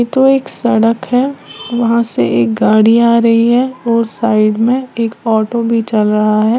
तो एक सड़क है वहां से एक गाड़ी आ रही है और साइड में एक ऑटो भी चल रहा है।